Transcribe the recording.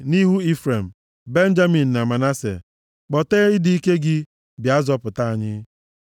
nʼihu Ifrem, Benjamin na Manase. + 80:2 Ebo atọ ndị a bụ ụmụ ụmụ Rechel, bụ ndị soo igbe ọgbụgba ndụ ahụ nʼazụ mgbe ndị Izrel na-ala nʼala nkwa ahụ. Kpọtee ịdị ike gị, bịa zọpụta anyị.